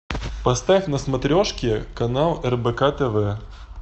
поставь на смотрешке канал рбк тв